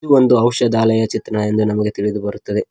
ಒಂದು ಔಷಧಾಲಯ ಚಿತ್ರ ಎಂದು ನಮಗೆ ತಿಳಿದು ಬರುತ್ತದೆ.